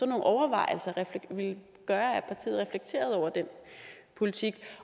nogle overvejelser ville gøre at partiet reflekterede over den politik